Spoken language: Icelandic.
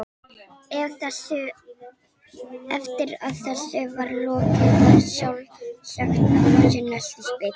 Eftir að þessu var lokið var sjálfsagt að fá sér nestisbita.